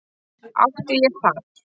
Átti ég þar